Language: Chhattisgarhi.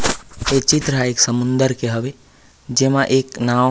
ऐ चित्र ह एक समुन्दर के हवे जेमा एक नाव। --